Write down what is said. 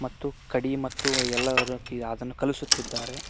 ತ್ತು ಕಡಿ ಮತ್ತು ಎಲ್ಲರ ಅದನ್ನು ಕಲುಸುತ್ತಿದ್ದಾರೆ.